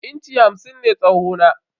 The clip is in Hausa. Inci hamsin ne tsawo na.